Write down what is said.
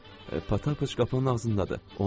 Pataıç kazinonun ağzındadır.